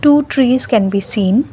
two trees can be seen.